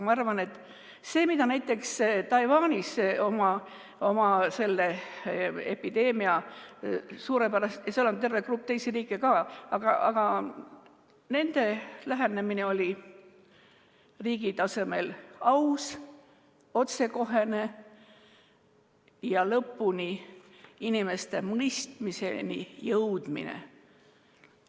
Ma arvan, et see, kuidas Taiwan selle epideemiaga suurepäraselt – seal on terve grupp teisi riike ka –, nende lähenemine oli riigi tasemel aus, otsekohene ja lõpuni inimestes mõistmist tekitav.